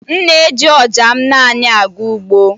M na-eji ọja m naanị aga ugbo